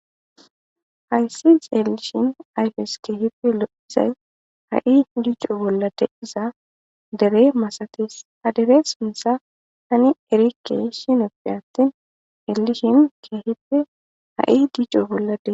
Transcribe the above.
Hayssi xeelishn ayfs keehippe lo'iza ha'i dico bolla diza dere masates, ha dere suntha tani erikeshn gidon atin xelishn keehippe ha'i dico bolla diza